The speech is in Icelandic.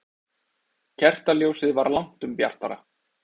Kertaljósið var langtum bjartara.